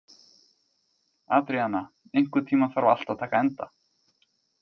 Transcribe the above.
Adríana, einhvern tímann þarf allt að taka enda.